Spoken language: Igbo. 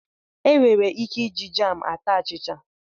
Enwere ike iji jam ata achịcha.